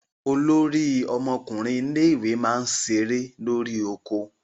Olórí ọmọkùnrin ilé ẹ̀kọ́ náà ń ṣeré lórí oko